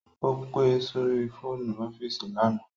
Ó pe sórí fóònù ọ́fíìsì lánàá